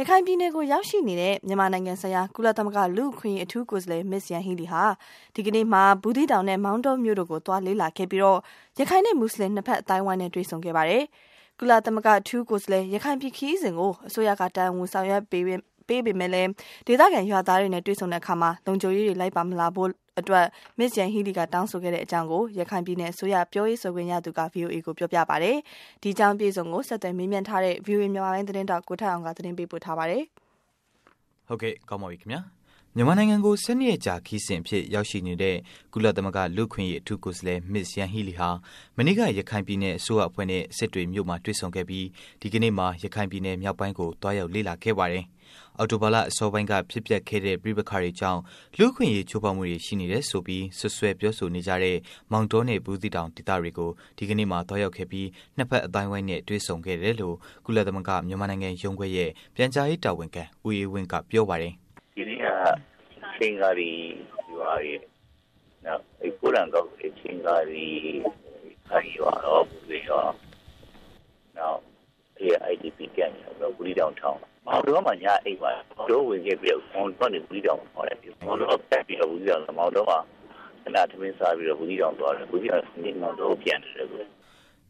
ရခိုင်ပြည်နယ်ကို ရောက်ရှိနေတဲ့ မြန်မာနိုင်ငံဆိုင်ရာ ကုလသမဂ္ဂ လူ့အခွင့်အရေး အထူးကိုယ်စားလှယ် Ms.Yanghee Lee ဟာ ဒီကနေ့မှာ ဘူးသီးတောင်နဲ့ မောင်တောမြို့တို့ကို သွားလေ့လာခဲ့ပြီး ရခိုင်နဲ့ မူစလင် နှစ်ဖက် အသိုင်းအဝိုင်းနဲ့ တွေ့ဆုံခဲ့ပါတယ်။ ကုလအထူးကိုယ်စားလှယ် ရခိုင်ပြည်နယ် ခရီးစဉ်ကို အစိုးရက တာဝန်ယူဆောင်ရွက်ပေမယ့်လို့ ဒေသခံ ရွာသားတွေနဲ့ တွေ့ဆုံတဲ့အခါမှာတော့ လုံခြုံရေးတွေ လိုက်ပါမလာဖို့အတွက် Ms.Yanghee Lee က တောင်းဆိုခဲ့တဲ့အကြောင်း ရခိုင်ပြည်နယ် အစိုးရ ပြောရေးဆိုခွင့်ရသူက ဗွီအိုအေကို ပြောပါတယ်။ အပြည့်အစုံကိုတော့ ဆက်သွယ်မေးမြန်းထားတဲ့ ဗွီအိုအေမြန်မာပိုင်းသတင်းထောက် ကိုထက်အောင်က တင်ပြပေးမှာပါ။ မြန်မာနိုင်ငံကို ၁၂ ရက်ကြာ ခရီးစဉ်အဖြစ် ရောက်ရှိနေတဲ့ ကုလသမဂ္ဂလူ့အခွင့်အရေး အထူးကိုယ်စားလှယ် Ms.Yanghee Lee ဟာ မနေ့က ရခိုင်ပြည်နယ် အစိုးရအဖွဲ့နဲ့ စစ်တွေမြို့မှာ တွေ့ဆုံခဲ့ပြီး ဒီကနေ့မှာ ရခိုင်ပြည် မြောက်ပိုင်းကို သွားရောက်လေ့လာခဲ့ပါတယ်။ အောက်တိုဘာလ အစောပိုင်းက ဖြစ်ပျက်ခဲ့တဲ့ ပဋိပက္ခတွေကြောင့် လူ့အခွင့်အရေး ချိုးဖောက်မှုတွေ ရှိနေတယ်ဆိုပြီး စွပ်စွဲပြောဆိုနေကြတဲ့ မောင်တောနဲ့ ဘူးသီးတောင် ဒေသတို့ကို ဒီကနေ့မှာ သွားရောက်ခဲ့ပြီး နှစ်ဖက်အသိုင်းအဝိုင်းနဲ့ တွေ့ဆုံခဲ့တယ်လို့ ကုလသမဂ္ဂ မြန်မာနိုင်ငံရုံးခွဲရဲ့ ပြန်ကြားရေး တာဝန်ခံ ဦးအေးဝင်းက ပြောပါတယ်။ “ဒီနေ့က ခြင်္ကာလီရွာရယ်၊ နောက်အဲဒီက ကိုးတံကောက်ရွာရယ်၊ အဲဒီ ခြင်္ကာလီရွာ၊ အဲဒီရွာတွေကိုရော.. နောက် အဲဒီက IDP camp ရော၊ ဘူးသီးတောင်မှာရောပေါ့၊ မောင်တောမှာ ညအိပ်မယ်။ မောင်တောကနေဆက်ပြီးတော့ ဘူးသီးတောင်ကိုသွားမယ့်ခဏထမင်းစားပြီးတော့ ဘူးသီးတောင်သွားတယ်။ ဘူးသီးတောင်ကနေ ဒီနေ့မောင်တောကို ပြန်နေတယ်အခု။ ”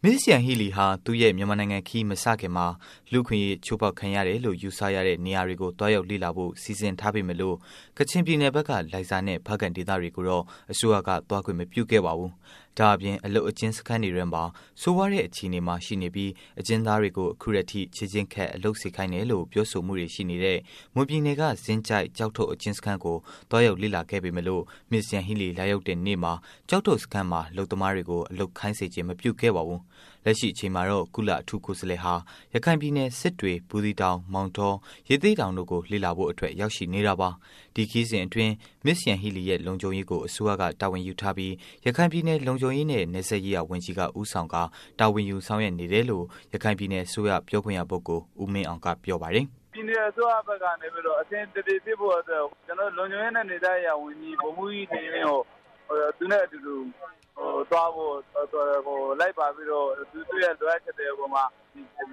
Ms.Yanghee Lee ဟာ သူ့ရဲ့ မြန်မာနိုင်ငံ ခရီးစဉ်မစခင်မှာ လူ့အခွင့်အရေး ချိုးဖောက်ခံရတယ်လို့ ယူဆရတဲ့နေရာတွေကို သွားရောက်လေ့လာဖို့ စီစဉ်ခဲ့ပေမယ့်လို့ ကချင်ပြည်နယ်ဘက်က လိုင်ဇာနဲ့ ဖားကန့်ဒေသတို့ကို အစိုးရက သွားခွင့် မပြုခဲ့ပါဘူး။ ဒါ့အပြင် အလုပ်အကျဉ်းစခန်းတွေထဲမှာ ဆိုးဝါးတဲ့ အခြေအနေမှာ ရှိနေပြီး အကျဉ်းသားတွေကို အခုထက်ထိ ခြေကျင်းခတ် အလုပ်စေခိုင်းတယ်လို့ ပြောဆိုမှုတွေ ရှိနေတဲ့ မွန်ပြည်နယ်က ဇင်းကျိုက် ကျောက်ထုတ် အကျဉ်းစခန်းကို သွားရောက်လေ့လာခဲ့ပေမယ့်လို့ Ms.Yanghee Lee လာရောက်တဲ့နေ့မှာ ကျောက်ထုတ်စခန်းမှာ အလုပ်သမားတွေကို အလုပ်ခိုင်းစေခြင်း မပြုခဲ့ပါဘူး။ လက်ရှိအချိန်မှာတော့ ကုလအထူးကိုယ်စားလှယ်ဟာ ရခိုင်ပြည်နယ် စစ်တွေ၊ ဘူးသီးတောင်၊ မောင်တော၊ ရသေ့တောင်တို့ကို လေ့လာဖို့အတွက် ရောက်ရှိနေတာပါ။ ဒီခရီးစဉ်အတွင်း Ms.Yanghee Lee ရဲ့ လုံခြုံရေးကို အစိုးရက တာဝန်ယူထားပြီး ရခိုင်ပြည်နယ် လုံခြုံရေးနဲ့ နယ်စပ်ရေးရာ ဝန်ကြီးက ဦးဆောင်ကာ တာဝန်ယူဆောင်ရွက်နေတယ်လို့ ရခိုင်ပြည်နယ်စိုးရ ပြောခွင့်ရ ပုဂ္ဂိုလ် ဦးမင်းအောင်က ပြောပါတယ်။ “ပြည်နယ်အစိုးရကနေပြီးတော့ အဆင်ပြေပြေဖြစ်ဖို့အတွက် ကျနော်တို့ လုံခြုံရေးနဲ့ နယ်စပ်ရေးရာဝန်ကြီး ဗိုလ်မှုးကြီးနေလင်းကိုသူနဲ့အတူတူသွားဖို့.. ဟို.. လိုက်ပါပြီးတော့ သူ့ရဲ့လိုအပ်ချက်တွေပေါ်မှာ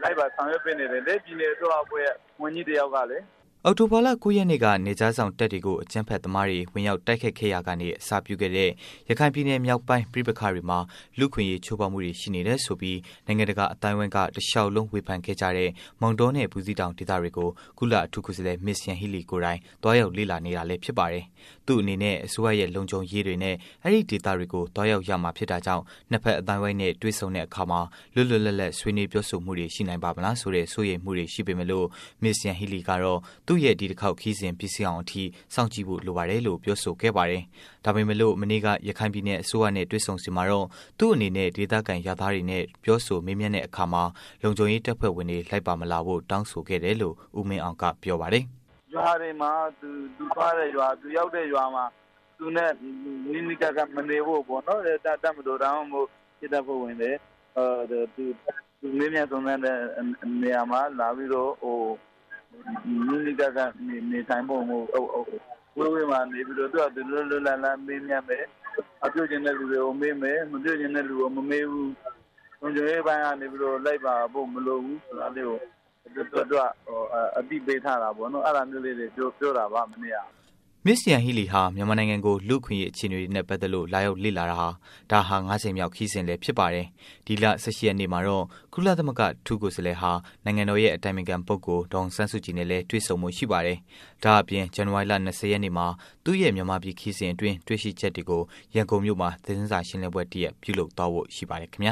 လိုက်ပါဆောင်ရွက်ပေးနေတယ်လေ ။ပြည်နယ်အစိုးရအဖွဲ့ရဲ့ဝန်ကြီးတယောက်ကလေ” အောက်တိုဘာလ ၉ ရက်နေ့က နယ်ခြားစောင့်တပ်တွေကို အကြမ်းဖက်သမားတွေ ဝင်ရောက်တိုက်ခိုက်ခဲ့ရာကနေ အစပြုခဲ့တဲ့ ရခိုင်ပြည်နယ် မြောက်ပိုင်း ပဋိပက္ခတွေမှာ လူ့အခွင့်အရေး ချိုးဖောက်မှုတွေ ရှိနေတယ်ဆိုပြီး နိုင်ငံတကာ အသိုင်းအဝိုင်းက တစ်လျှောက်လုံး ဝေဖန်ခဲ့ကြတဲ့ မောင်တောနဲ့ ဘူးသီးတောင်ဒေသတွေကို ကုလအထူးကိုယ်စားလှယ် Ms.Yanghee Lee ကိုယ်တိုင် သွားရောက်လေ့လာနေတာဖြစ်ပါတယ်။ သူ့အနေနဲ့ အစိုးရရဲံ လုံခြုံရေးတွေနဲ့ အဲဒီ့ဒေသတွေကို သွားရောက်ရမှာဖြစ်တာကြောင့် နှစ်ဖက်အသိုင်းအဝိုင်းနဲ့ တွေ့ဆုံတဲ့အခါမှာ လွတ်လွတ်လပ်လပ် ဆွေးနွေးပြောဆိုမှုတွေ ရှီနိုင်ပါ့မလားဆိုတဲ့ စိုးရိမ်မှုတွေ ရှိပေမယ့်လို့ Ms.Yanghee Lee ကတော့ သူရဲ့ ဒီတစ်ခေါက် ခရီးစဉ် ပြီးဆုံးအောင်အထိ စောင့်ကြည့်ဖို့ လိုပါတယ်လို့ ပြောဆိုခဲ့ပါတယ်။ ဒါပေမဲ့လို့ မနေ့က ရခိုင်ပြည်နယ် အစိုးရနဲ့ တွေ့ဆုံစဉ်မှာတော့သူ့အနေနဲ့ ဒေသခံ ရွာသားတွေနဲ့ ပြောဆိုမေးမြန်းတဲ့အခါမှာ လုံခြုံရေး တပ်ဖွဲ့ဝင်တွေ လိုက်ပါမလာဖို့ တောင်းဆိုခဲ့တယ်လို့ ဦးမင်းအောင်က ပြောပါတယ်။ “ ရွာတွေမှာ သူသွားတဲ့ရွာ၊ သူရောက်တဲ့ရွာမှာ သူနဲ့ နီးနီးကပ်ကပ်မနေဖို့ပေါ့၊ တပ်မတော် ဒါမှမဟုတ် ရဲတပ်ဖွဲ့ဝင်တွေ သူမေးမြန်းစုံစမ်းတဲ့နေရာမှာ လာပြီးတော့ နီးနီးကပ်ကပ်မနေဖို့၊ ဝေးဝေးမှာနေပြီးတော့ သူ့ဘာသာ လွပ်လွပ်လပ်လပ် မေးမြန်းမယ်၊ မေးချင်တဲ့လူကို မေးမယ်၊ မမေးချင်တဲ့လူကို မမေးဘူး။ လုံခြုံရေးအပိုင်းကနေပြီးတော့ လိုက်ပါဖို့မလိုဘူးဆိုတာလေးကို သူက အသိပေးထားတာပေါ့နော်။ အဲတာမျိုးလေးတွေပြောတာပါ။ မနေ့က။” Ms. Yanghee Lee ဟာ မြန်မာနိုင်ငံကို လူ့အခွင့်အရေး အခြေအနေတွေနဲ့ ပတ်သတ်လို့ လာရောက်လေ့လာတာ ဒါဟာ ငါး ကြိမ်မြောက်ခရီးစဉ်လည်း ဖြစ်ပါတယ်။ ဒီလ ၁၈ ရက်နေ့မှာတော့ ကုလအထူးကိုယ်စားလှယ်ဟာ နိုင်ငံတော်ရဲ့ အတိုင်ပင်ခံ ပုဂ္ဂိုလ် ဒေါ်အောင်ဆန်းစုကြည်နဲ့လည်း တွေ့ဆုံဖို့ ရှိပါတယ်။ ဒါ့အပြင် ဇန်နဝါရီလ ၂၀ ရက်နေ့မှာ သူ့ရဲ့ မြန်မာပြည် ခရီးစဉ်အတွင်း တွေ့ရှိချက်တွေကို ရန်ကုန်မြို့မှာ သတင်းစာရှင်းလင်းပွဲ တစ်ရပ် ပြုလုပ်သွားဖို့ ရှိပါတယ်ခင်ဗျာ။